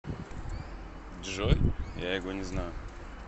джой я его не знаю